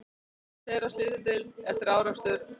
Tveir á slysadeild eftir árekstur